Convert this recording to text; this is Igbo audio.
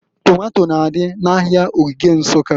Tomato n'adị n'Ahịa Ogige Nsukka.